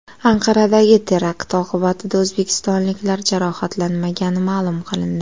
Anqaradagi terakt oqibatida o‘zbekistonliklar jarohatlanmagani ma’lum qilindi.